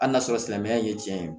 Hali n'a sɔrɔ silamɛya ye tiɲɛ ye